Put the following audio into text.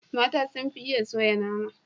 Mata sun fi iya soya nama.